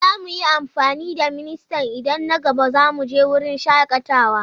Za mu yi amfani da ministan idan na gaba za mu je wurin shakatawa.